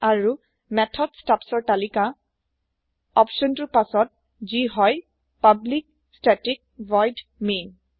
আৰু method stubs ৰ তালিকা অপচন টোৰ পাছতযি হয় পাব্লিক ষ্টেটিক ভইড main